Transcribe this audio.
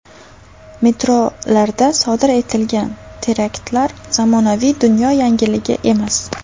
Metrolarda sodir etilgan teraktlar zamonaviy dunyo yangiligi emas.